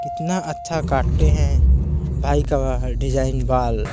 कितना अच्छा काटे हैं भाई का डिज़ाइन बाल --